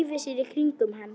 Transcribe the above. Dreifi sér í kringum hann.